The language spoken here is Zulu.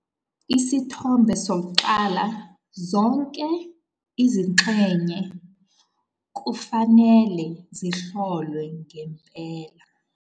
Isithombe 1- Zonke izingxenye kufanele zihlolwe ngempela.